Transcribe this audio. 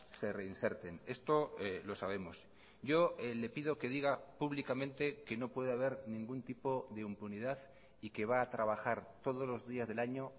se reinserten esto lo sabemos yo le pido que diga públicamente que no puede haber ningún tipo de impunidad y que va a trabajar todos los días del año